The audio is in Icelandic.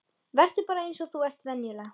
Vertu bara eins og þú ert venjulega.